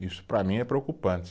Isso para mim é preocupante.